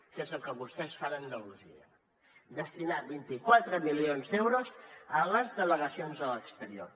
que és el que vostès fan a andalusia destinar vint quatre milions d’euros a les delegacions a l’exterior